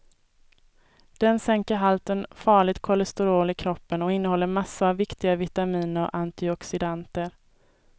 Den sänker halten farligt kolesterol i kroppen och innehåller massor av viktiga vitaminer och antioxidanter.